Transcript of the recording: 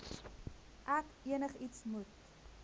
ek enigiets moet